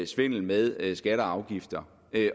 svindel med skatter og afgifter